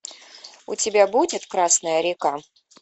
у тебя будет красная река